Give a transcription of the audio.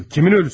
Hansı ölü?